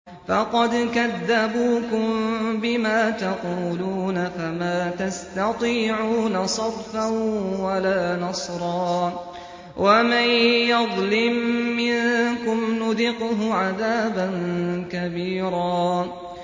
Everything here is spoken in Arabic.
فَقَدْ كَذَّبُوكُم بِمَا تَقُولُونَ فَمَا تَسْتَطِيعُونَ صَرْفًا وَلَا نَصْرًا ۚ وَمَن يَظْلِم مِّنكُمْ نُذِقْهُ عَذَابًا كَبِيرًا